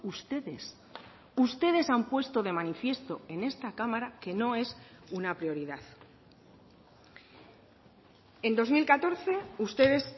ustedes ustedes han puesto de manifiesto en esta cámara que no es una prioridad en dos mil catorce ustedes